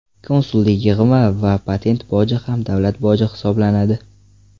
Konsullik yig‘imi va patent boji ham davlat boji hisoblanadi.